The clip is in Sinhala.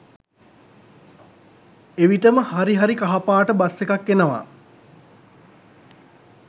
එවිටම හරි හරි කහපාට බස් එකක් එනවා